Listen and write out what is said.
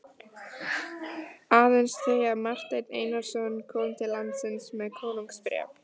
Aðeins þau að Marteinn Einarsson kom til landsins með konungsbréf.